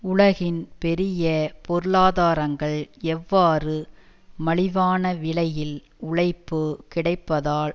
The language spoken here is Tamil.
உலகின் பெரிய பொருளாதாரங்கள் எவ்வாறு மலிவான விலையில் உழைப்பு கிடைப்பதால்